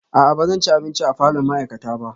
A'a ba zan ci abinci a falon ma'aikata ba